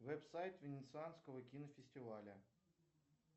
веб сайт венецианского кинофестиваля